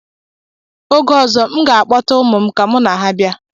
Oge ọzọ, m ga-akpọta ụmụ m ka mụ na ha bịa.